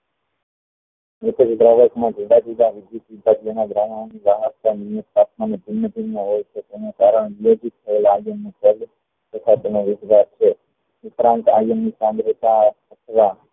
દ્રાવક માં જુદા જુદા નિયુક્ત તાપમાન ને ભિન્ન ભિન્ન હોય છે તેનું કારણ